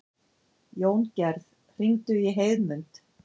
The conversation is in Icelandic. Jóngerð, hringdu í Heiðmund.